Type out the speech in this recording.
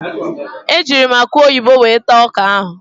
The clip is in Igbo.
Ejiiri m akụ oyibo were taa ọka ahụ.